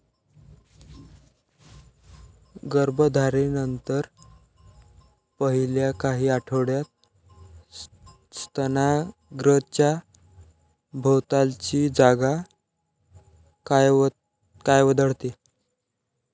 गर्भधारणेनंतर पहिल्या काही आठवड्यात स्तनाग्रंच्या भोवतालची जागा काळवंडते.